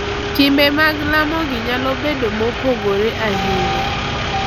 Timbe mag lamo gi nyalo bedo mopogore ahinya,